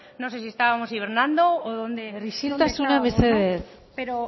no sé si estábamos hibernando o dónde isiltasuna mesedez pero